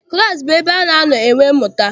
Klaasị bụ ebe ana anọ enwe mmụta.